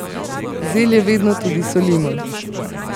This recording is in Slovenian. Zelje vedno tudi solimo.